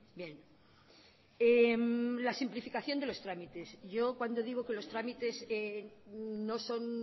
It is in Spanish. bien la simplificación de los trámites yo cuando digo que los trámites no son